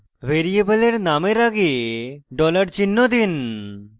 ভ্যারিয়েবলের names আগে dollar $ চিহ্ন sign